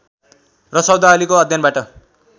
र शब्दावलीको अध्ययनबाट